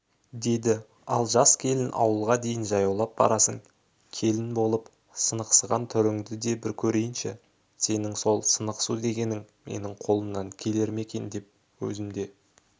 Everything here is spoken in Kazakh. деді ал жас келін ауылға дейін жаяулап барасың келін болып сынықсыған түріңді де бір көрейінші сенің сол сынықсу дегенің менің қолымнан келер ме екен деп өзім де